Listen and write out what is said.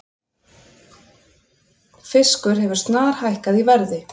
Fiskur hefur snarhækkað í verði